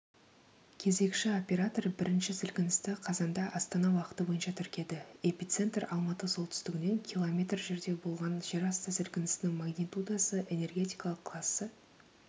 кезекші оператор бірінші сілкіністі қазанда астана уақыты бойынша тіркеді эпицентр алматы солтүстігінен километр жерде болған жер асты сілкісінінің магнитудасы энергетикалық классы